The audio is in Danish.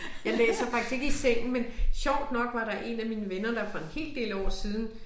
Jeg læser faktisk ikke i sengen men sjovt nok var der én af mine venner der for en hel del år siden